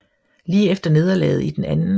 Lige efter nederlaget i den 2